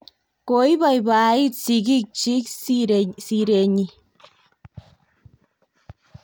koiboiboit sigikchich sire nyin